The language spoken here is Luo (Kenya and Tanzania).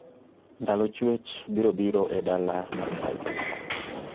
ndalo chuech biro biro e dala mar brighton pa